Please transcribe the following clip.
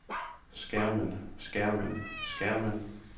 skærmen skærmen skærmen